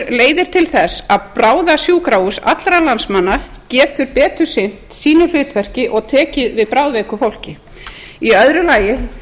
leiðir til þess að bráðasjúkrahús allra landsmanna getur betur sinnt sínu hlutverki og tekið við bráðveiku fólki í öðru lagi